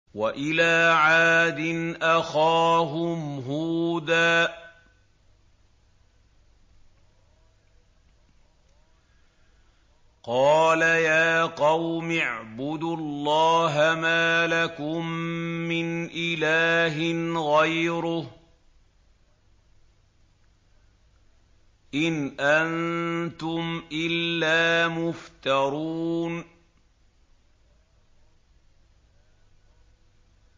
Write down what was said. وَإِلَىٰ عَادٍ أَخَاهُمْ هُودًا ۚ قَالَ يَا قَوْمِ اعْبُدُوا اللَّهَ مَا لَكُم مِّنْ إِلَٰهٍ غَيْرُهُ ۖ إِنْ أَنتُمْ إِلَّا مُفْتَرُونَ